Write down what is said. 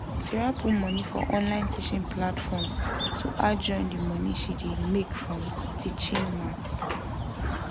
sarah put money for online teaching platform to add join the money she dey make from teaching maths